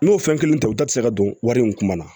N'o fɛn kelen to u ta te se ka don wari in kuma na